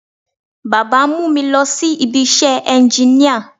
Baba ń mú mi lọ sí ibi iṣẹ́ ẹnginíà